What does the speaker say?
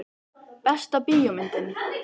Besta bíómyndin?